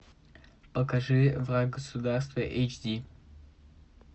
покажи враг государства эйч ди